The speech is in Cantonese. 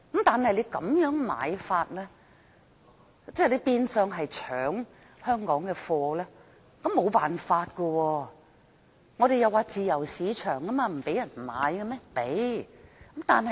但是，他們這樣子買樓，即變相搶香港的貨，我們也沒有辦法，香港是自由市場，難道不讓別人買嗎？